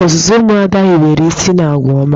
Ọzụzụ ụmụ Ada hiwere isi n'agwa ọma.